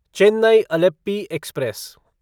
Chennai Alleppey express